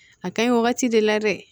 A ka ɲi wagati de la dɛ